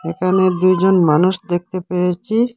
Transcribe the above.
এখানে দুজন মানুষ দেখতে পেয়েচি।